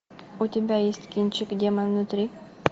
у тебя есть кинчик демон внутри